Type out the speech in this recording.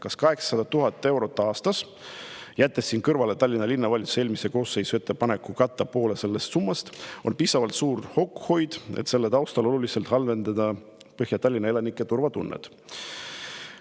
Kas 800 000 eurot aastas, jättes siin kõrvale Tallinna Linnavalitsuse eelmise koosseisu ettepaneku katta poole sellest summast, on piisavalt suur kokkuhoid, et oluliselt halvendada Põhja-Tallinna elanike turvatunnet?